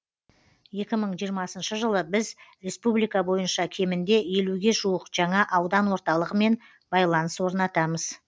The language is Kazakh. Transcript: екі мың жиырмасыншы жылы біз республика бойынша кемінде елуге жуық жаңа аудан орталығымен байланыс орнатамыз